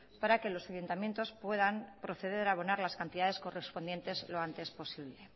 para que los ayuntamientos puedan proceder a abonar las cantidades correspondientes lo antes posible